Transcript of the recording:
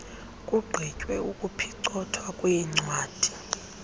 kugqitywe ukuphicothwa kweencwadi